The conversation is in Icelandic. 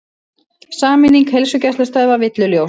Sameining heilsugæslustöðva villuljós